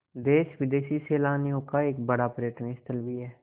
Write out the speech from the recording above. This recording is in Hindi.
देशी विदेशी सैलानियों का एक बड़ा पर्यटन स्थल भी है